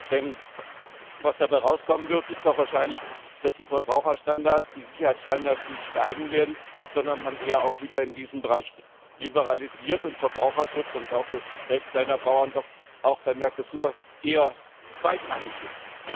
Denn was dabei rauskommen wird, ist doch wahrscheinlich, dass die Verbraucherstandards, die Sicherheitsstandards nicht steigen werden, sondern man eher auch wieder in diesem Bereich liberalisiert und Verbraucherschutz und auch das Recht kleiner Bauern doch auch bei Mercosur eher zweitrangig